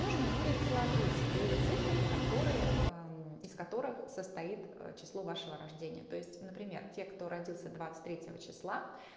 нужно будет сложить две цифры которые из которых состоит число вашего рождения то есть например те кто родился двадцать третьего числа